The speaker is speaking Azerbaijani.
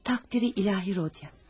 Təqdiri ilahi, Rodya.